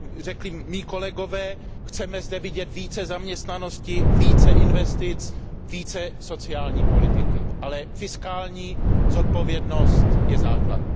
Jak řekli mí kolegové, chceme zde vidět více zaměstnanosti, více investic, více sociální politiky, ale fiskální zodpovědnost je základ.